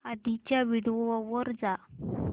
आधीच्या व्हिडिओ वर जा